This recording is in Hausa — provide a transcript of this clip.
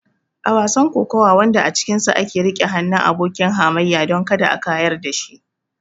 A wasan kokawa wanda a cikinsa ake riƙe hannun abokin hamayyar don kada a kayar da shi.